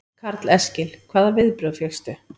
Karl Eskil: Hvaða viðbrögð fékkstu?